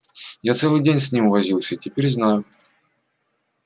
я целый день с ним возился теперь знаю